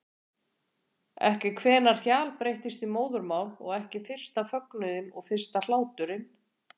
Ekki hvenær hjal breyttist í móðurmál og ekki fyrsta fögnuðinn og fyrsta hláturinn.